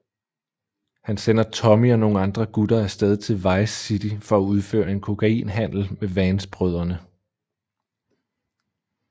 Han sender Tommy og nogle andre gutter af sted til Vice City for at udføre en kokainhandel med Vance brødrene